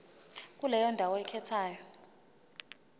kuleyo ndawo oyikhethayo